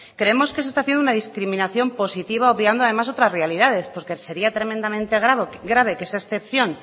creemos que se está haciendo una discriminación positiva obviando además otras realidades porque sería tremendamente grave que esa excepción